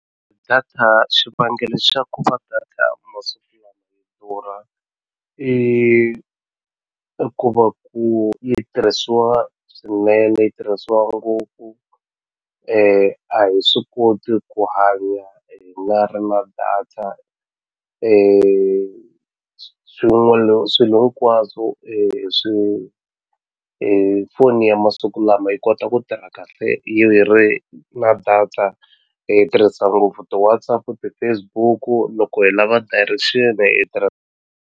Data xivangelo xa ku va data masiku lama durha i i ku va ku yi tirhisiwa swinene yi tirhisiwa ngopfu a hi swi koti ku hanya hi nga ri na data swilo hinkwaswo swi foni ya masiku lama yi kota ku tirha kahle yi ri na data hi tirhisa ngopfu ti-Whatsapp ti-Facebook loko hi lava direction hi .